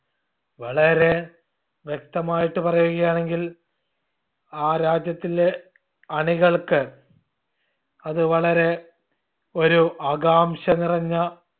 വളരെ വ്യക്തമായിട്ട് പറയുകയാണെങ്കിൽ ആ രാജ്യത്തില്ലെ അണികൾക്ക് അത് വളരെ ഒരു ആകാംക്ഷ നിറഞ്ഞ